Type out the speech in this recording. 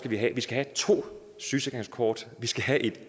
vi skal have to sygesikringskort vi skal have et